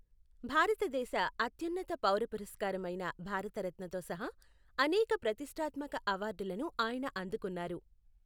భారతదేశ అత్యున్నత పౌర పురస్కారమైన భారతరత్నతో సహా అనేక ప్రతిష్టాత్మక అవార్డులను ఆయన అందుకున్నారు.